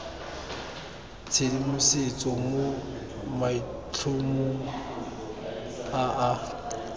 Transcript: tshedimosetso mo maitlhomong a a